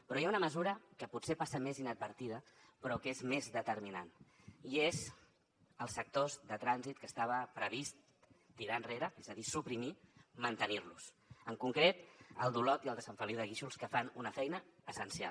però hi ha una mesura que potser passa més inadvertida però que és més determinant i és els sectors de trànsit que estava previst tirar enrere és a dir suprimir los mantenir los en concret el d’olot i el de sant feliu de guíxols que fan una feina essencial